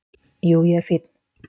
"""Jú, ég er fínn."""